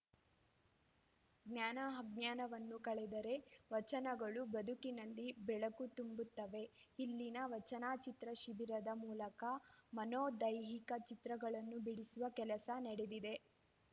ಜ್ಞಾನ ಅಜ್ಞಾನವನ್ನು ಕಳೆದರೆ ವಚನಗಳು ಬದುಕಿನಲ್ಲಿ ಬೆಳಕು ತುಂಬುತ್ತವೆ ಇಲ್ಲಿನ ವಚನಚಿತ್ರ ಶಿಬಿರದ ಮೂಲಕ ಮನೋ ದೈಹಿಕ ಚಿತ್ರಗಳನ್ನು ಬಿಡಿಸುವ ಕೆಲಸ ನಡೆದಿದೆ